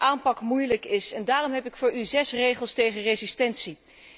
U zegt dat de aanpak moeilijk is en daarom heb ik voor u zes regels tegen resistentie.